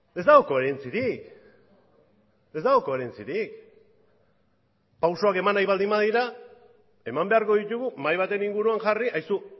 ez dago koherentzirik ez dago koherentzirik pausuak eman nahi baldin badira eman beharko ditugu mahai baten inguruan jarri aizu